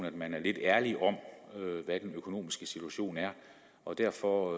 at man er lidt ærlig om hvad den økonomiske situation er og derfor